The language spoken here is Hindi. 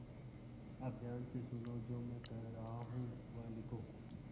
अब ध्यान से सुनो जो मैं कह रहा हूँ वह लिखो